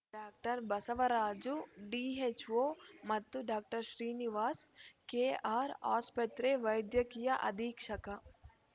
doctor Basavaraju DHO ಮತ್ತು doctor Srinivas KR ಆಸ್ಪತ್ರೆ ವೈದ್ಯಕೀಯ ಅಧೀಕ್ಷಕ